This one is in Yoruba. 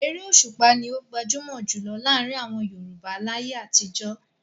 Eré Òṣùpá ni ó gbajúmọ̀ jù lọ láàrin àwọn Yorùbá láyé àtijọ́.